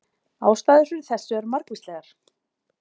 Ástæður fyrir þessu eru margvíslegar.